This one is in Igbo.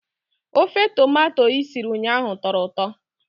Ofe tomato i siri ụnyahụ tọrọ ụtọ